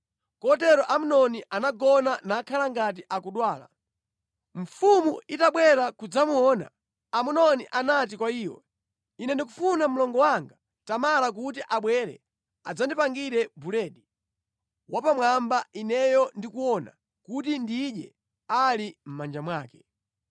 Kotero Amnoni anagona nakhala ngati akudwala. Mfumu itabwera kudzamuona, Amnoni anati kwa iyo, “Ine ndikufuna mlongo wanga Tamara kuti abwere adzandipangire buledi wapamwamba ineyo ndikuona, kuti ndidye ali mʼmanja mwake.”